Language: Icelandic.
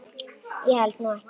Ég held nú ekki.